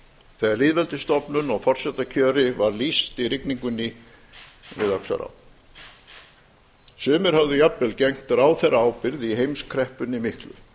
þegar lýðveldisstofnun og forsetakjöri var lýst í rigningunni við öxará sumir höfðu jafnvel gegnt ráðherraábyrgð í heimskreppunni miklu